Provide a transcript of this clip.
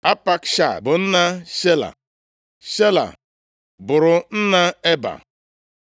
Apakshad bụ nna Shela; Shela bụrụ nna Eba.